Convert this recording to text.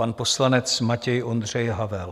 Pan poslanec Matěj Ondřej Havel.